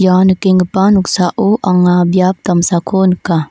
ua nikenggipa noksao anga biap damsako nika.